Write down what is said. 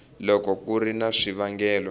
loko ku ri na swivangelo